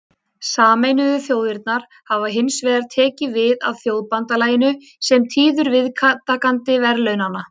Sameinuðu þjóðirnar hafa hins vegar tekið við af Þjóðabandalaginu sem tíður viðtakandi verðlaunanna.